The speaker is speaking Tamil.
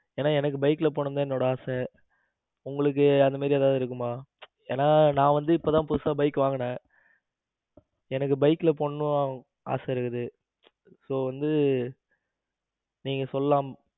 ஏன்னா எனக்கு bike ல போனும் தான் என்னோட ஆசை. உங்களுக்கு அந்த மாதிரி ஏதாவது இருக்குமா ஏன்னா நான் வந்து இப்பதான் புதுசா bike வாங்கினே எனக்கு bike போனும்னு ஆசை இருக்கு. so வந்து நீங்க சொல்லலாம்.